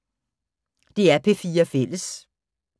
DR P4 Fælles